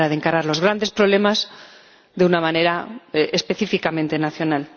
no hay manera de encarar los grandes problemas de una manera específicamente nacional.